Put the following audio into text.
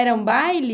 Era um baile?